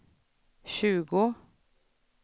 tjugo